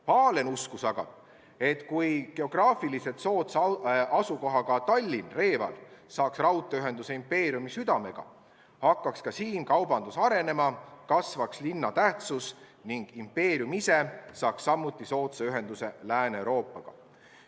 Pahlen uskus aga, et kui geograafiliselt soodsa asukohaga Tallinn/Reval saaks raudteeühenduse impeeriumi südamega, hakkaks ka siin kaubandus arenema ja kasvaks linna tähtsus ning impeerium ise saaks soodsa ühenduse Lääne-Euroopaga.